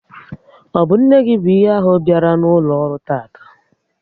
Ọ bụ nne gị bụ ihe ahụ biala n'ụlọ ọrụ tataa?